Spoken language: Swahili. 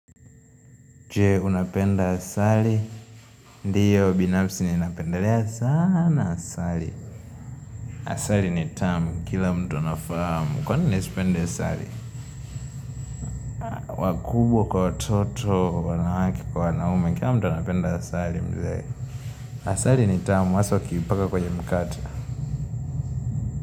Je unapenda asali Ndiyo binafsi ninapendelea sana asali Asali ni tamu kila mtu anafahamu Kwa nini nisipende asali? Wakubwa kwa watoto wanawake kwa wanaume Kila mtu anapenda asali mzee Asali ni tamu hasa ukiipaka kwenye mkate.